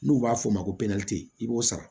N'u b'a fɔ o ma ko i b'o sara